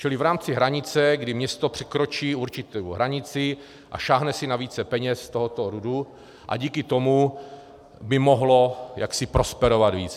Čili v rámci hranice, kdy město překročí určitou hranici a sáhne si na více peněz z tohoto RUDu a díky tomu by mohlo jaksi prosperovat víc.